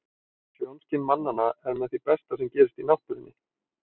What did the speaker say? Sjónskyn mannanna er með því besta sem gerist í náttúrunni.